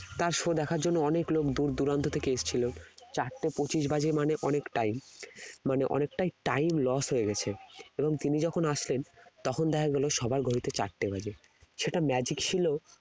তার show দেখার জন্য অনেক লোক দূর দূরান্ত থেকে এসেছিল চারটে পঁচিশ বাজে মানে অনেক time মানে অনেকটাই time lose হয়ে গেছে এবং তিনি যখন আসলেন তখন দেখা গেল সবার ঘড়িতে চারটে বাজে সেটা magic ছিল